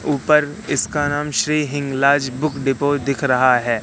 ऊपर इसका नाम श्री हिंगलाज बुक डिपो दिख रहा है।